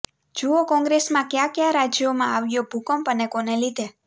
જુઓ કોંગ્રેસમાં કયા કયા રાજ્યોમાં આવ્યો ભૂકંપ અને કોને લીધે